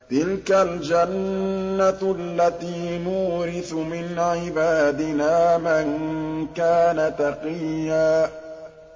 تِلْكَ الْجَنَّةُ الَّتِي نُورِثُ مِنْ عِبَادِنَا مَن كَانَ تَقِيًّا